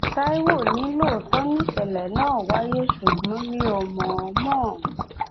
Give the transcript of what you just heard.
táíwò ní lóòótọ́ nìṣẹ̀lẹ̀ náà wáyé ṣùgbọ́n mi ò mọ̀ọ́mọ̀